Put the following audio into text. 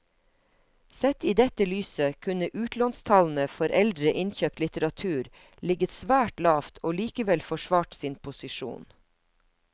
Sett i dette lyset kunne utlånstallene for eldre innkjøpt litteratur ligget svært lavt og likevel forsvart sin posisjon.